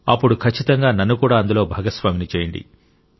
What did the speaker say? అప్పుడు ఖచ్చితంగా నన్నుకూడా అందులో భాగస్వామిని చేయండి